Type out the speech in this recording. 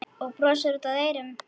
Og brosir út að eyrum.